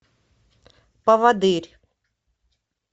поводырь